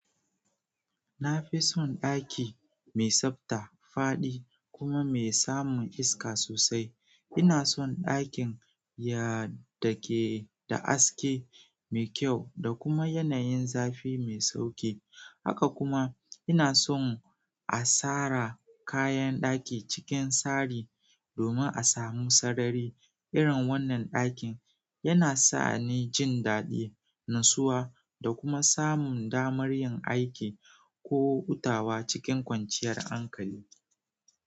Nafison ɗaki mai tsabta, faɗi, kuma mai samun iska sosai. Ina son ɗakin ya dake da aske mai kyau da kuma yanayin zafi mai sauƙi. Haka kuma ina son a sara kayan ɗaki cikin sari domin a samu sarari. Irin wannan ɗakin yana sani jin daɗi, natsuwa da kuma samun damar yin aiki ko hutawa cikin kwanciyar hankali.